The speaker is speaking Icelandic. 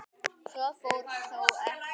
Svo fór þó ekki.